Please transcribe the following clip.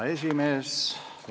Hea esimees!